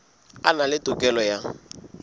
a na le tokelo ya